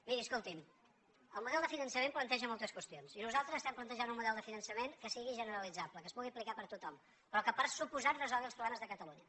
miri escolti’m el model de finançament planteja moltes qüestions i nosaltres estem plantejant un model de finançament que sigui generalitzable que es pugui aplicar per a tothom però que per descomptat resolgui els problemes de catalunya